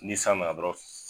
Ni san nana dɔɔrɔn siii.